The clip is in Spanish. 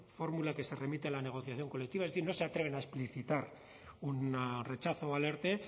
fórmula que se remite a la negociación colectiva es decir no se atreven a explicitar un rechazo al erte